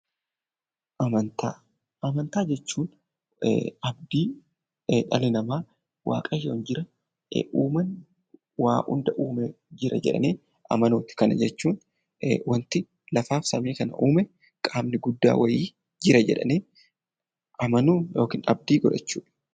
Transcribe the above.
Amantaa Amantaa jechuun abdii dhalli namaa waaqayyoon jira, uumaan waan hunda uume jira jedhanii amanuudha. Kana jechuun waanti lafaa fi samii kana uume qaamni guddaan wayii jira jedhanii amanuu yookiin abdii godhachuu.